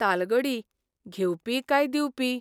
तालगडी घेवपी काय दिवपी?